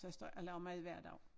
Så jeg står ikke og laver mad hver dag